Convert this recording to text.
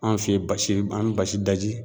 An fɛ ye basi an bɛ basi daji.